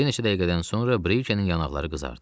Bir neçə dəqiqədən sonra Brikenin yanaqları qızardı.